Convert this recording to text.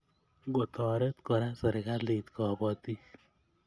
Ngotoret Kora serkalit kobotik